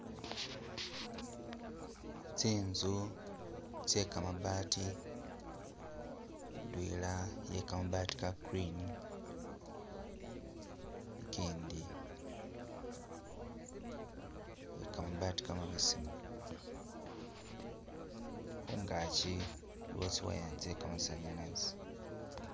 Tsinzu tsye kamabaati, indwela iye kamabaati ka green, ikindi iye kamabaati kamabesemu, khungakyi iliwo tsi wire tsye kamasanyalazi